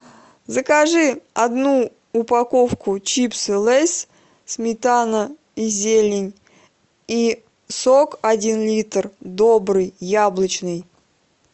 закажи одну упаковку чипсы лейс сметана и зелень и сок один литр добрый яблочный